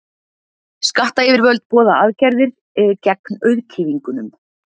Skattayfirvöld boða aðgerðir gegn auðkýfingunum.